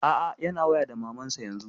A'a yana waya da maman sa yanzun.